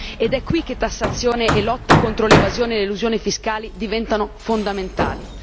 Ed è qui che tassazione e lotta contro l'evasione e l'elusione fiscali diventano fondamentali.